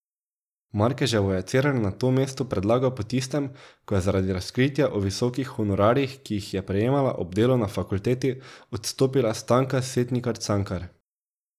Markeževo je Cerar na to mesto predlagal po tistem, ko je zaradi razkritja o visokih honorarjih, ki jih je prejemala ob delu na fakulteti, odstopila Stanka Setnikar Cankar.